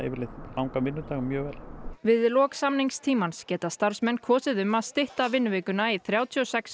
langan vinnudag mjög vel við lok samningstímans geta starfsmenn kosið um að stytta vinnuvikuna í þrjátíu og sex